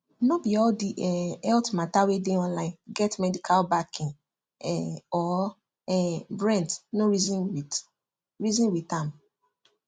no be all the um health matter wey dey online get medical backing um or um brent no reason with reason with am